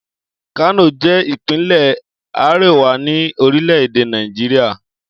Kano je ipinle Ariwa ni orile-ede Nàìjíríà.